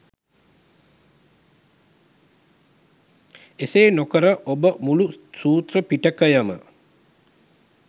එසේ නොකර ඔබ මුලු සූත්‍ර පිටකයම